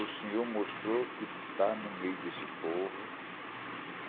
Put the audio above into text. O Senhor mostrou que está no meio desse povo.